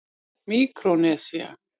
Míkrónesía